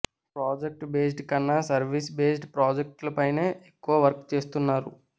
product based కన్నా service based project లపైనే ఎక్కువ వర్క్ చేస్తున్నారు